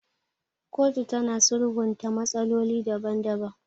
Kotu tana sulhunta matsaloli daban daban.